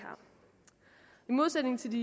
modsætning til de